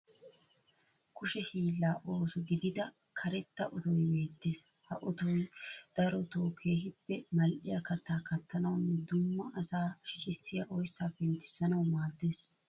Kushe hiillaa ooso gidida karetta otoyi beettees. Ha otoyi darotoo keehippe mal'iya kattaa kattanawunne dumma asaa shicissiya oyssaa penttissanawu maaddees.